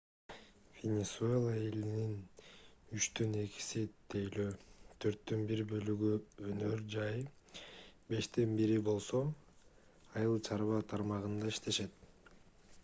венесуэла элинин үчтөн экиси тейлөө төрттөн бир бөлүгү өнөр жай бештен бири болсо айыл чарба тармагында иштешет